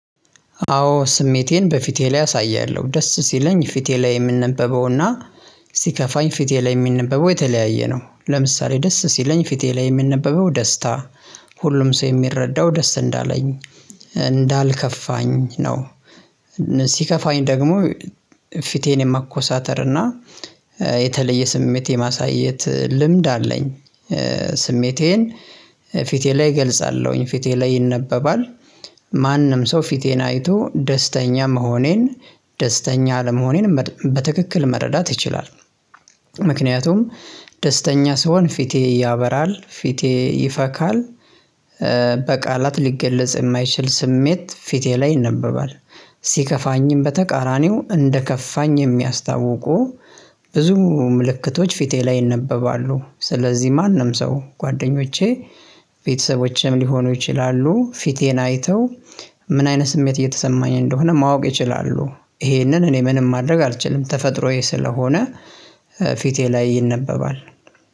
አዎ ስሜቴን በፊቴ ላይ አሳያለሁ ደስ ሲለኝ ፊቴ ላይ የምንነበበው እና ሲከፋኝ ፊቴ ላይ የሚነበበው የተለያየ ነው። ለምሳሌ ደስ ሲለኝ ፊቴ ላይ የሚነበበው ደስታ። ሁሉም ሰው የሚረዳው ደስ እንዳለኝ እንዳልከፋኝ ነው። ሲከፋኝ ደግሞ ፊቴን የማኮሳተር እና የተለየ ስሜት የማሳየት ልምድ አለኝ። ስሜቴን ፊቴ ላይ እገልጻለሁኝ ፊቴ ላይ ይነበባል። ማንም ሰው ፊቴን አይቶ ደስተኛ መሆኔን ደስተኛ ለመሆኔን በትክክል መረዳት ይችላል። ምክንያቱም ደስተኛ ስሆን ፊቴ ያበራል ፊቴ ይፈካል። በቃላት ሊገለጽ የማይችል ስሜት ፊቴ ላይ ይነበባል። ሲከፋኝም በተቃራኒው እንደከፋኝ የሚያስታውቁ ብዙ ምልክቶች ፊቴ ላይ ይነበባሉ። ስለዚህ ማንም ሰው ጓደኞቼ ቤተሰቦቼም ሊሆኑ ይችላሉ ፊቴን አይተው ምን አይነት ስሜት እየተሰማኝ እንደሆነ ማወቅ ይችላሉ። ይሄንን እኔ ምንም ማድረግ አልችልም ተፈጥሮዬ ስለሆነ ፊቴ ላይ ይነበባል።